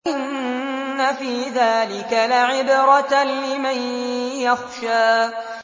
إِنَّ فِي ذَٰلِكَ لَعِبْرَةً لِّمَن يَخْشَىٰ